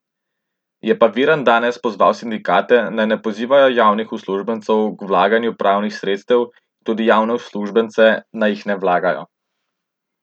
Je pa Virant danes pozval sindikate, naj ne pozivajo javnih uslužbencev k vlaganju pravnih sredstev, in tudi javne uslužbence, naj jih ne vlagajo.